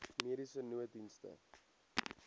mediese nooddienste